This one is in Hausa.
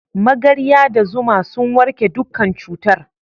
Magarya da zuma sun warke dukkan cutar.